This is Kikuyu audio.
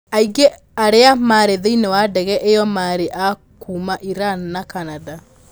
Aingĩ arĩa maarĩ thĩinĩ wa ndege ĩyo maarĩ a kuuma Iran na Canada.